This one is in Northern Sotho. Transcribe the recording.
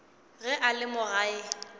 ge a le mo gae